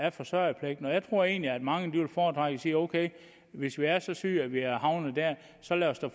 af forsørgerpligten og jeg tror egentlig at mange vil foretrække at sige okay hvis vi er så syge at vi er havnet der så lad os da